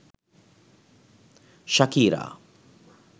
shakira